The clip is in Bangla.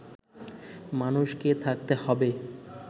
মানুষকে থাকতে হবে